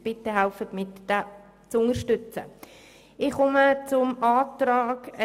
Bitte helfen Sie mit und unterstützen Sie diesen Antrag.